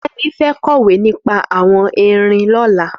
Femi fẹ̀ kọwé nipà awọn érin lọ̀lá